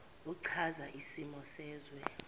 echaza isimo sezwe